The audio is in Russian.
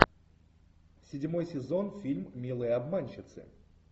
седьмой сезон фильм милые обманщицы